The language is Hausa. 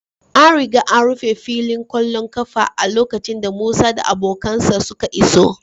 An riga an rufe filin ƙwallon ƙafa a lokacin da Musa da abokansa suka iso